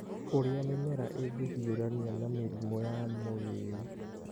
Ũrĩa Mĩmera Ĩngĩhiũrania na Mĩrimũ ya Mũrĩĩu